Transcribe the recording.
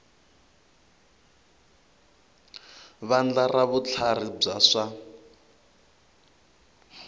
vandla ra vutlharhi bya swa